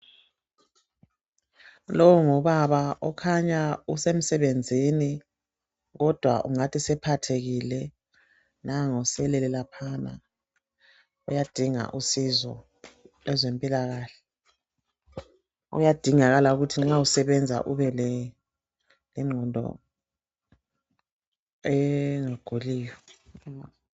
Lo ngubaba okhanya esemsebenzini kodwa ungathi usephathekile nangu uselele laphana uyadinga usizo lwezempilakahle. Kuyadingakala ukuthi nxa usebenza ubelengqondo engaguliyo.